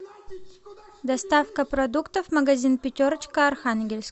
доставка продуктов магазин пятерочка архангельск